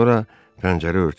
Sonra pəncərə örtüldü.